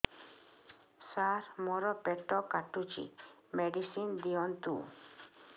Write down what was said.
ସାର ମୋର ପେଟ କାଟୁଚି ମେଡିସିନ ଦିଆଉନ୍ତୁ